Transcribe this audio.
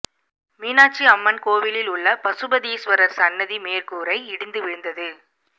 மீனாட்சி அம்மன் கோவிலில் உள்ள பசுபதீஸ்வரர் சன்னதி மேற்கூரை இடிந்து விழுந்தது